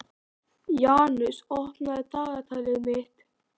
Janus, opnaðu dagatalið mitt.